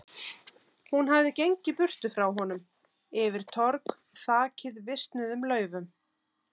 Hún hafði gengið burtu frá honum, yfir torg þakið visnuðum laufum.